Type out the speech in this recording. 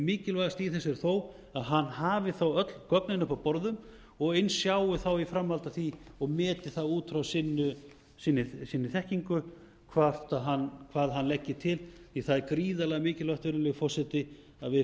mikilvægast í þessu er þó að hann hafi þá öll gögnin uppi á borðum og eins sjái þá í framhaldi af því og meti það út frá sinni þekkingu hvað hann leggi til því að það er gríðarlega mikilvægt virðulegi forseti að við